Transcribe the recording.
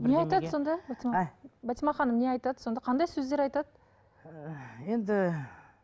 не айтады сонда батима ханым не айтады сонда қандай сөздер айтады енді